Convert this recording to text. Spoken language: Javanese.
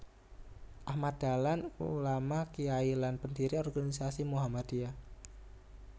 Ahmad Dahlan Ulama Kyai lan pendiri organisasi Muhammadiyah